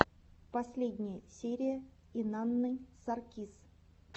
последняя серия инанны саркис